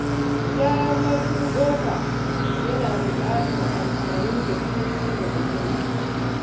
Gyaran murfin ƙofa yana buƙatar amfani da turmi da guduma.